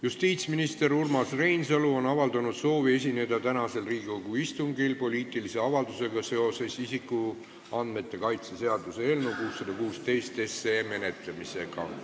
Justiitsminister Urmas Reinsalu on avaldanud soovi esineda tänasel Riigikogu istungil poliitilise avaldusega seoses isikuandmete kaitse seaduse eelnõu 616 menetlemisega.